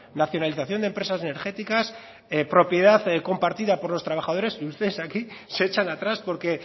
nacionalización de empresas energéticas propiedad compartida por los trabajadores y ustedes aquí se echan atrás porque